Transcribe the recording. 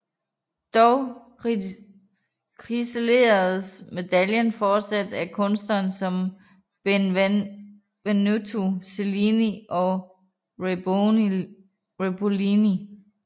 Dog ciseleredes medaljer fortsat af kunstnerer som Benvenuto Cellini og Raibolini